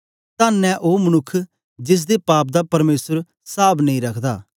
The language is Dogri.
तन्न ऐ ओ मनुक्ख जिसदे पाप दा परमेसर साव नेई रखदा